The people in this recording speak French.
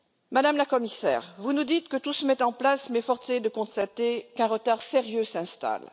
Madame la Commissaire, vous nous dites que tout se met en place, mais force est de constater qu'un retard sérieux s'installe.